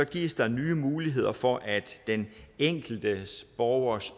gives der nye muligheder for at den enkelte borgers